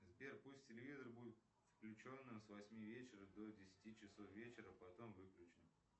сбер пусть телевизор будет включенным с восьми вечера до десяти часов вечера потом выключим